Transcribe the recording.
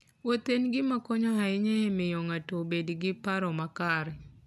Wuoth en gima konyo ahinya e miyo ng'ato obed gi paro makare.